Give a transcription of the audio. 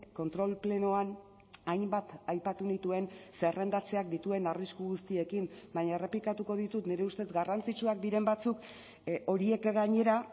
kontrol plenoan hainbat aipatu nituen zerrendatzeak dituen arrisku guztiekin baina errepikatuko ditut nire ustez garrantzitsuak diren batzuk horiek gainera